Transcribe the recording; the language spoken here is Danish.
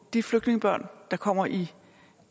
de flygtningebørn der kommer i